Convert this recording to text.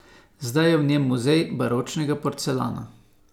Zdaj je v njej muzej baročnega porcelana.